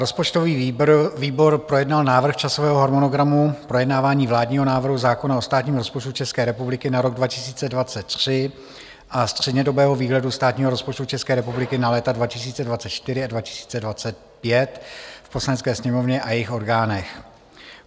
Rozpočtový výbor projednal Návrh časového harmonogramu projednávání vládního návrhu zákona o státním rozpočtu České republiky na rok 2023 a střednědobého výhledu státního rozpočtu České republiky na léta 2024 a 2025 v Poslanecké sněmovně a jejích orgánech.